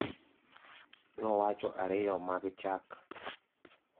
nowacho ariyo mag chak